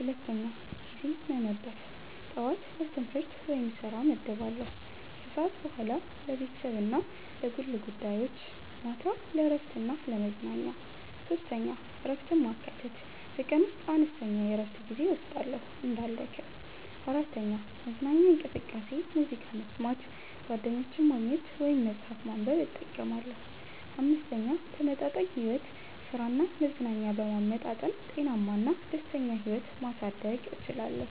2. ጊዜ መመደብ ጠዋት ለትምህርት/ስራ እመድባለሁ ከሰዓት በኋላ ለቤተሰብ እና ለግል ጉዳዮች ማታ ለእረፍት እና ለመዝናኛ 3. እረፍትን ማካተት በቀን ውስጥ አነስተኛ የእረፍት ጊዜ እወስዳለሁ እንዳልደክም። 4. መዝናኛ እንቅስቃሴ ሙዚቃ መስማት፣ ጓደኞችን ማግኘት ወይም መጽሐፍ ማንበብ እጠቀማለሁ። 5. ተመጣጣኝ ሕይወት ሥራ እና መዝናኛን በመመጣጠን ጤናማ እና ደስተኛ ሕይወት ማሳደግ እችላለሁ።